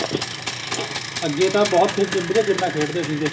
ਅੱਗੇ ਤਾਂ ਬਹੁਤ ਵਧੀਆ ਗੇਮਾ ਖੇਡਦੇ ਸੀਗੇ